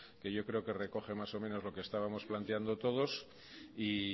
que yo creo que recoge más o menos lo que estábamos planteando todos y